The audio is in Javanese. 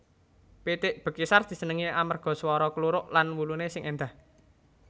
Pitik Bekisar disenengi amarga swara kluruk lan wuluné sing éndah